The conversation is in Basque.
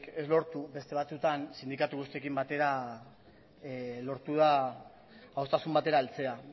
ez lortu beste batzuetan sindikatu guztiekin batera lortu da adostasun batera heltzea